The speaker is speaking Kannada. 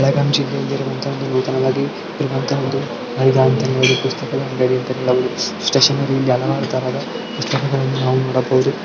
ಈ ಚಿತ್ರದಲ್ಲಿ ನೂತನವಾಗಿ ಇರುವಂತ ಹಲವಾರು ತರದ ಪುಸ್ತಕಗಳು ನಾವು ನೋಡಬಹುದು .